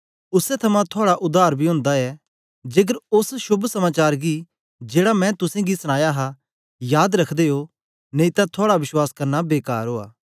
उसै थमां थुआड़ा उद्धार बी ओंदा ऐ जेकर ओस शोभ समाचार गी जेड़ा मैं तुसेंगी सनाया हा याद रखदे ओ नेई तां थुआड़ा विश्वास करना बेकार ओआ